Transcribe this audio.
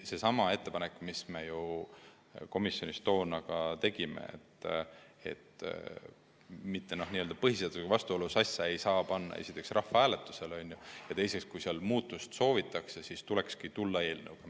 Tegime põhiseaduskomisjonis ettepaneku, et põhiseadusega vastuolus olevat asja ei saa panna rahvahääletusele, seda esiteks, ja teiseks, kui muutust soovitakse, siis tuleks tulla eelnõuga.